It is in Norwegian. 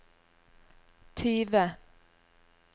tyve